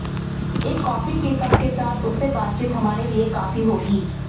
एक कॉफी के कप के साथ उससे बातचीत हमारे लिए काफी होगी